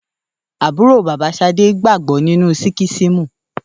Àbúrò bàbá Ṣadé gbàgbọ́ nínú síkísímù